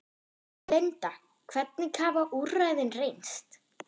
Linda, hvernig hafa úrræðin reynst?